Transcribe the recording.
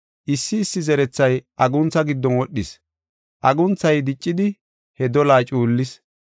Issi issi zerethay aguntha giddon wodhis; agunthay diccidi he dolaa cuullis.